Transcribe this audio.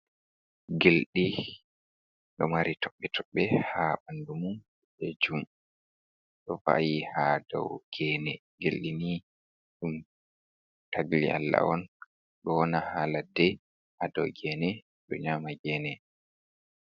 Gilɗi ɗo mari toɓɓe-toɓɓe haa ɓandu mum be jum. Ɗo va'i haa dow geene. Gilɗi ni ɗum tagdi Allah on, ɗo wona haa ladde, haa dow geene ɗo nƴama geene